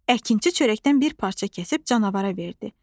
Əkinçi çörəkdən bir parça kəsib canavara verdi.